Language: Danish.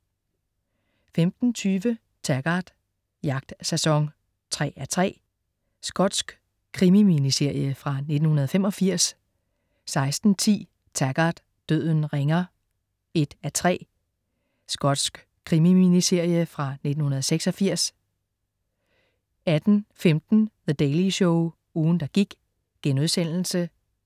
15.20 Taggart: Jagtsæson 3:3. Skotsk krimi-miniserie fra 1985 16.10 Taggart: Døden ringer 1:3. Skotsk krimi-miniserie fra 1986 18.15 The Daily Show ugen, der gik*